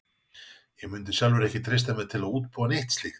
Ég mundi sjálfur ekki treysta mér til að útbúa neitt slíkt.